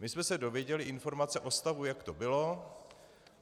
My jsme se dověděli informace o stavu, jak to bylo.